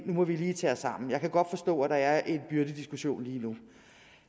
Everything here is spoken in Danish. nu må vi lige tage os sammen jeg kan godt forstå at der er en byrdediskussion lige nu